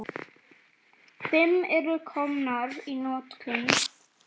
Fimm eru komnar í notkun.